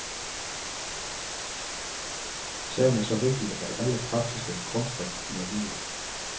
Sagen er så vigtig, at alle partitaktiske krumspring må vige.